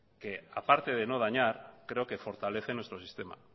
que aparte de no dañar creo que fortalece nuestro sistema